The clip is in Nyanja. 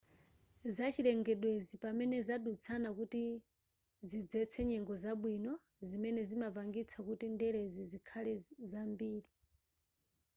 zachilengedwezi pamene zadutsana kuti zidzetse nyengo zabwino zimene zimapangitsa kuti ndelezi zikhale zambiri